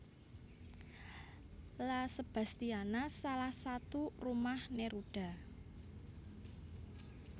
La Sebastiana salah satu rumah Neruda